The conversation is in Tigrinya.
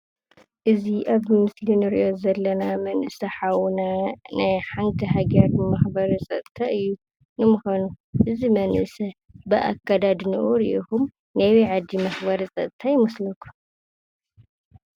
እዚ ኣብ ምስሊ እንሪኦ ዘለና መንእሰይ ሓውና ናይ ሓንቲ ሃገር ብማሕበረሰብ ፀጥታ እዩ ። ንምዃኑ እዚ መንእሰይ ብኣከዳድንኡ ርኢኹም ናይ ኣበይ ዓዲ መኽበሪ ፀጥታ ይመስለኩም ?